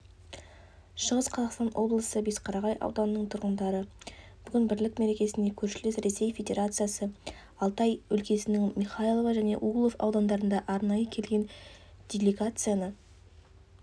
шығыс қазақстан облысы бесқарағай ауданының тұрғындары бүгінгі бірлік мерекесіне көршілес ресей федерациясы алтай өлкесінің михайлов және углов аудандарынан арнайы келген делегацияны